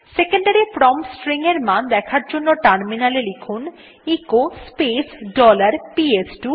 secondary value command prompt এর মান দেখার জন্য টার্মিনালে এ লিখুন এচো স্পেস ডলার পিএস2